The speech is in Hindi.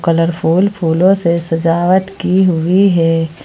कलरफुल फूलों से सजावट की हुई है।